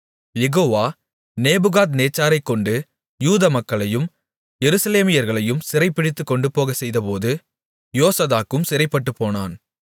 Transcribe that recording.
யெகோவா நேபுகாத்நேச்சாரைக் கொண்டு யூதா மக்களையும் எருசலேமியர்களையும் சிறைபிடித்துக் கொண்டுபோகச்செய்தபோது யோசதாக்கும் சிறைப்பட்டுப்போனான்